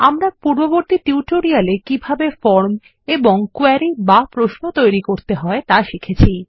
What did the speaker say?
আমরা পূর্ববর্তী টিউটোরিয়াল একিভাবে ফর্মএ কোয়েরি বাপ্রশ্ন তৈরি করতে হয় তাশিখেছি